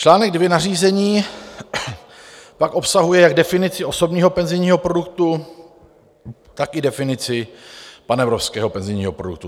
Článek 2 nařízení pak obsahuje jak definici osobního penzijního produktu, tak i definici panevropského penzijního produktu.